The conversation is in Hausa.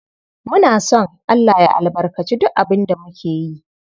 Muna son Allah ya albarkaci duk abin da muke yi.